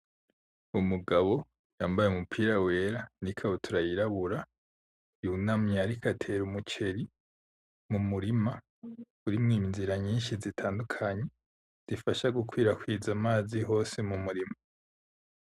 Umugabo yambaye umupira wera n’ikabutura yirabura yunamye ariko atera umuceri mumurima urimwo inzira nyinshi zitandukanye zifasha gukwirakwiza amazi hose mumurima .